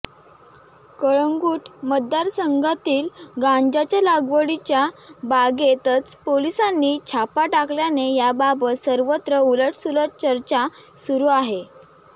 कळंगूट मतदारसंघातील गांजाच्या लागवडीच्या बागेतच पोलिसांनी छापा टाकल्याने याबाबत सर्वत्र उलट सुलट चर्चा सुरु आहे